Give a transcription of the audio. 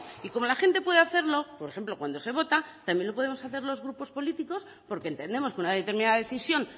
y como la gente puede hacerlo por ejemplo cuando se vota también lo podemos hacer los grupos políticos porque entendemos que una determinada decisión